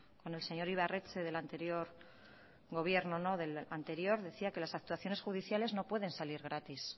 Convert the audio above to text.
con el señor ibarretxe del anterior gobierno del anterior decía que las actuaciones judiciales no pueden salir gratis